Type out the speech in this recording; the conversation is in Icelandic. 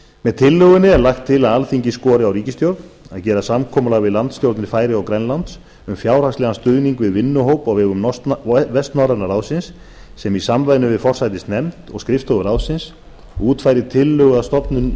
með tillögunni er lagt til að alþingi skori á ríkisstjórnina að gera samkomulag við landsstjórnir færeyja og grænlands um fjárhagslegan stuðning við vinnuhóp á vegum vestnorræna ráðsins sem í samvinnu við forsætisnefnd og skrifstofu ráðsins útfæri tillögu að stofnun